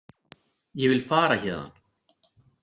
Ég vil fara héðan.